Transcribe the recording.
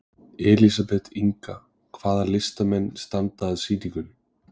Elísabet Inga: Hvaða listamenn standa að sýningunni?